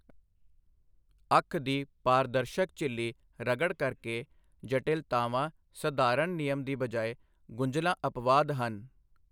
ਅੱਖ ਦੀ ਪਾਰਦਰਸ਼ਕ ਝਿਲੀ ਰਗੜ ਕਰਕੇ ਜਟਿਲਤਾਵਾਂ ਸਧਾਰਨ ਨਿਯਮ ਦੀ ਬਜਾਏ ਗੁੰਝਲਾਂ ਅਪਵਾਦ ਹਨ।